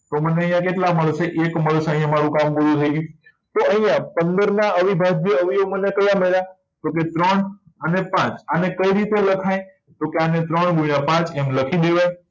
તો મને અહિયાં કેટલા મળશે એક મળશે અહિયાં મારું કામ પૂરું થઇ ગયું તો અહિયાં પંદર નાં અવિભાજ્ય અવયવી મને કયા મળ્યા તો કે ત્રણ અને પાંચ આને કઈ રીતે લખાય તો કે આને ત્રણ ગુણ્યા પાંચ આમ લખી દેવાય